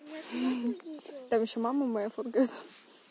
там ещё мама моя фоткает